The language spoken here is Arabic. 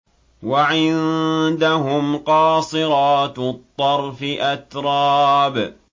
۞ وَعِندَهُمْ قَاصِرَاتُ الطَّرْفِ أَتْرَابٌ